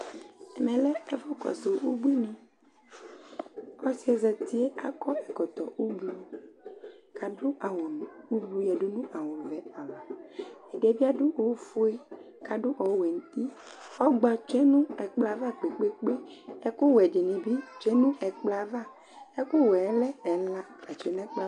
Ɛmɛ lɛ ɛfʋ kɔsʋ ubuiniƆsɩɛ zatie akɔ ɛkɔtɔ ; kadʋ awʋ ublu yǝdu nʋ awʋ vɛ ava, ɛdɩɛ bɩ adʋ ofue ,kadʋ ɔwɛ nutiƆgba tsue nʋ ɛkplɔ ava kpekpekpe Ɛkʋwɛ dɩnɩ bɩ tsue nʋ ɛkplɔ ava, ɛkʋ wɛ yɛ lɛ ɛla